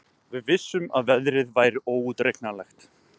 Við vissum að veðrið væri óútreiknanlegt